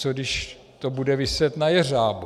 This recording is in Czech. Co když to bude viset na jeřábu?